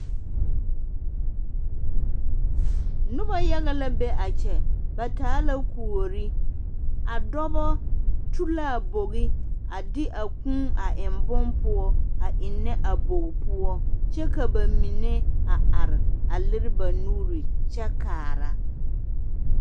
Noba yaga la be a kyɛ ba taa la kuori a dɔba tu la a bogi a de a kuu a eŋ bonne poɔ a eŋnɛ a bogi poɔ kyɛ ka ba mine a are a lere ba nuure kyɛ kaara.